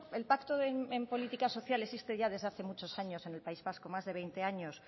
el pacto en política social existen desde hace muchos años en el país vasco más de veinte años